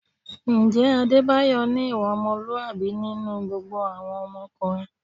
Ǹjẹ́ Adébáyọ̀ ní ìwà ọmọlúwàbí nínú gbogbo àwọn ọkùnrin?